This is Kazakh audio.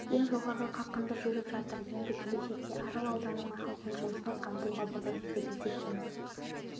ең жоғарғы қарқында жүріп жатыр енді келешекте арал ауданының халқын жұмыспен қамтуға болады деп есептейміз